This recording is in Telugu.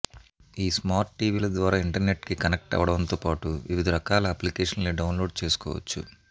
ఈ స్మార్ట్ టివీల ద్వారా ఇంటర్నెట్కి కనెక్ట్ అవడంతో పాటు వివిధ రకాల అప్లికేషన్స్ని డౌన్లోడ్ చేసుకోవచ్చు